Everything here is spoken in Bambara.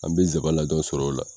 An bɛ zabanladɔn sɔrɔ o la.